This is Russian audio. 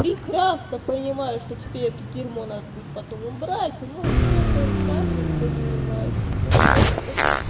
прекрасно понимаю что тебе это дерьмо надо будет потом убрать ну что-то рука не поднимается что-то хочется